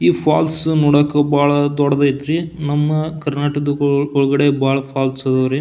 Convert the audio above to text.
ಈ ಫಾಲ್ಸ್ ನೋಡಕ್ ಬಹಳ ದೊಡ್ಡದೈತ್ರಿ ನಮ್ಮ ಕರ್ನಾಟಕದ್ ಒಳಗಡೆ ಬಹಳ ಫಾಲ್ಸ್ ಅದಾವ್ ರೀ.